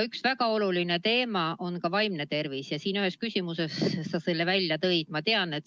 Üks väga oluline teema on vaimne tervis ja ühes küsimuses sa selle ka välja tõid.